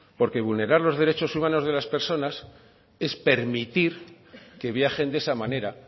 porque vulnerar los derechos humanos de las personas es permitir que viajen de esa manera